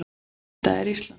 Þetta er Ísland.